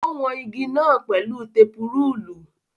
Ó wọn igi náà pẹ̀lú tepu-rúùlù.